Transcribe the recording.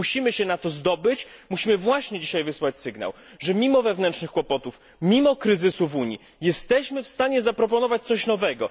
Musimy się na to zdobyć, musimy właśnie dzisiaj wysłać sygnał, że mimo wewnętrznych kłopotów, mimo kryzysu w Unii jesteśmy w stanie zaproponować coś nowego.